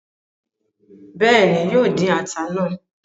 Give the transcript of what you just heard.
Béèni, yóò dín ata náà